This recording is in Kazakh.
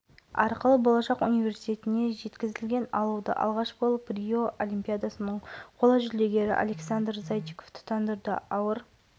универсиада алауы қазақстанның тұңғыш президенті атындағы саябақта тұтанды құрамына қоғам қайраткерлері өнер саңлақтары мен жетекші спортшылар кіретін алаугер шаһардың негізгі көшелерімен